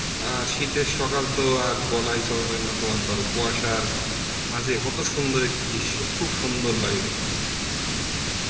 অ্যাঁ শীতের সকাল তো আর বলাই চলে না তোমার ধর কুয়াসার কত সুন্দর একটি দৃশ্য, খুব সুন্দর লাগে দেখতে